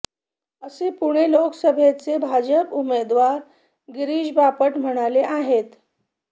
असे पुणे लोकसभेचे भाजप उमेदवार गिरीश बापट म्हणाले आहेत